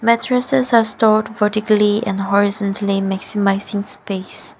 mattreses are stored vertically and horizontally maximizing space.